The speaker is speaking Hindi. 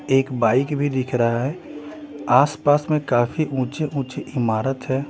एक बाइक भी दिख रहा हैं आसपास में काफी ऊँचे-ऊँची इमारत हैं ।